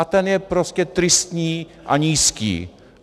A ten je prostě tristní a nízký.